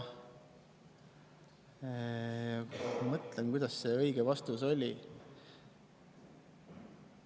Mõtlen, kuidas see õige vastus oli.